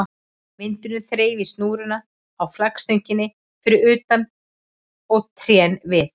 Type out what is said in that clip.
Vindurinn þreif í snúruna á flaggstönginni fyrir utan og trén við